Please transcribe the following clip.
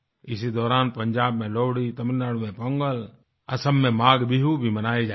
इसी दौरान पंजाब में लोहड़ी तमिलनाडु में पोंगल असम में माघबिहु भी मनाये जाएंगे